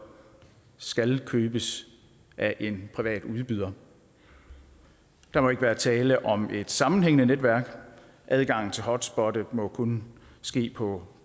skal købes af en privat udbyder der må ikke være tale om et sammenhængende netværk adgang til hotspottet må kunne ske på